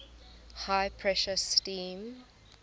high pressure steam